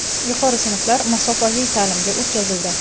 Yuqori sinflar masofaviy ta’limga o‘tkazildi.